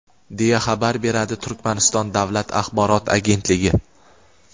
deya xabar beradi Turkmaniston davlat axborot agentligi.